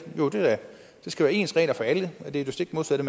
der skal være ens regler for alle er det stik modsatte